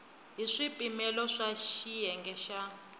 hi swipimelo swa xiyenge xa